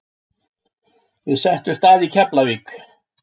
Við settumst að í Keflavík.